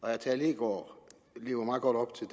herre tage leegaard lever meget godt op til